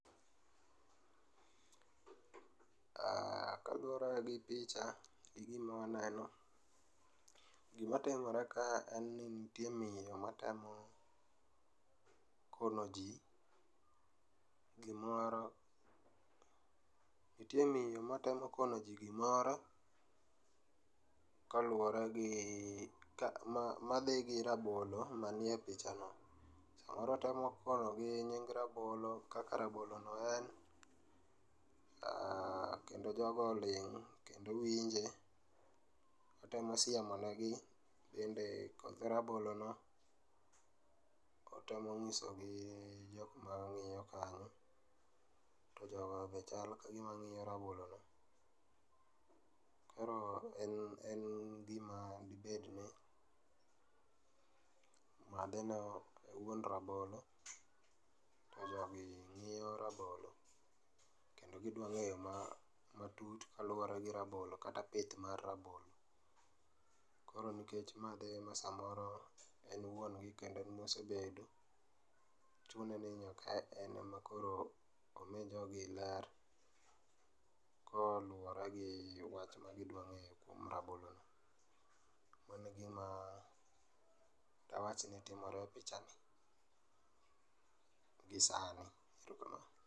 Aaah, kaluore gi picha gi gima aneno, gima timore ka en ni nitie miyo matemo kono jii gimoro. Nitie miyo matemo kono jii gimoro koluore gi ka, madhi gi rabolo manie pichano .Samoro otemo konogi nying' rabolo kaka rabolo no en kendo jogo oling kendo winje. Otemo siemo negi bende koth rabolo no ,otemo nyisogi jokma ng'iyo kanyo to jogo be chal kagima ng'iyo rabolo no .Koro en, en gima ibet ne madhe no en wuon rabolo to jogi ng'iyo rabolo kendo gidwa ng'eyo matut kaluore gi rabolo kata pith mar rabolo. Koro nikech ma dhi e saa moro en wuon gi kendo en mosebet, chune ni nyaka en makoro omi jogi ler koluore gi wach magidwaro kuom rabolo ni. Mano egima dawach ni timore e pichani gisani